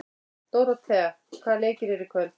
Dóróthea, hvaða leikir eru í kvöld?